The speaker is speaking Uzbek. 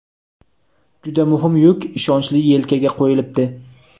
Juda muhim yuk ishonchli yelkaga qo‘yilibdi.